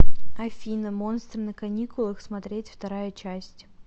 афина монстры на каникулах смотреть вторая часть